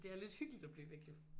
Det er lidt hyggeligt at blive væk